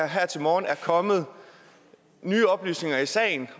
her til morgen er kommet nye oplysninger i sagen